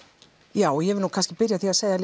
já ég vil nú kannski byrja að segja